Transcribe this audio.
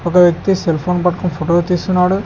ఒక వ్యక్తి సెల్ఫోన్ పట్టుకొని ఫోటోలు తీస్తున్నాడు.